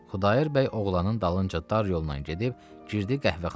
Xudayar bəy oğlanın dalınca dar yolla gedib girdi qəhvəxanaya.